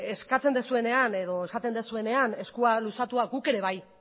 eskatzen duzuenean edo esaten duzuenean eskua luzatuak guk ere bai